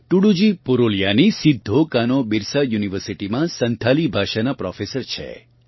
ટૂડૂજી પુરુલિયાનાં સિદ્ધોકાનોબિરસા યુનિવર્સિટીમાં સંથાલી ભાષાનાં પ્રોફેસર છે